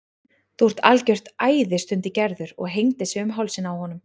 Þú ert algjört æði stundi Gerður og hengdi sig um hálsinn á honum.